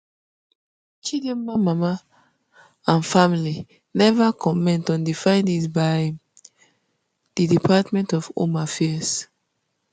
chidimma mama um and family neva comment on di findings by um di department of home affairs